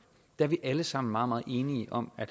er vi alle sammen meget meget enige om at